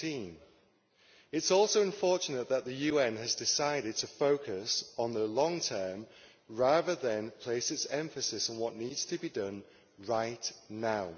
17? It is also unfortunate that the UN has decided to focus on the long term, rather than place its emphasis on what needs to be done right now.